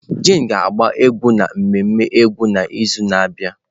Jane ga-agba egwu n'ememme egwu n'izu na-abịa.